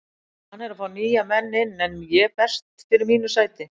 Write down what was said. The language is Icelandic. Hann er að fá nýja menn inn en ég berst fyrir mínu sæti.